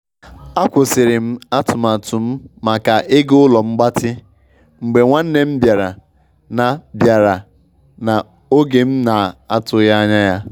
A kwusịrịm atụmatụ m maka ịga ụlo mgbatị mgbe nwanne m bịara na bịara na oge m na- atụghi ańya ya.